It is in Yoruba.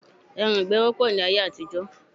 Ẹran ìgbẹ́ wọ́pọ̀ ní ayé àtijọ́